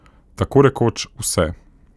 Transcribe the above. Tako rekoč vse.